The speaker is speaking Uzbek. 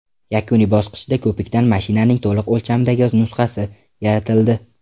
Yakuniy bosqichda ko‘pikdan mashinaning to‘liq o‘lchamdagi nusxasi yaratildi.